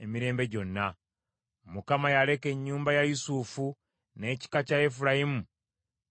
Mukama yaleka ennyumba ya Yusufu, n’ekika kya Efulayimu n’atakironda;